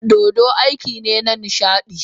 Dodo aiki ne na nishaɗi